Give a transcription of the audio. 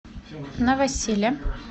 новосиле